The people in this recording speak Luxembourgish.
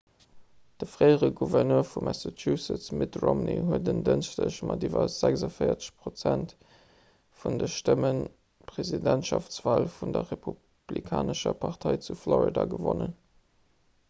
de fréiere gouverneur vu massachusetts mitt romney huet en dënschdeg mat iwwer 46 prozent vun de stëmmen d'presidentschaftswal vun der republikanescher partei vu florida gewonnen